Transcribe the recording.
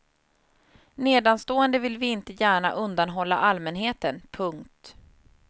Nedanstående vill vi inte gärna undanhålla allmänheten. punkt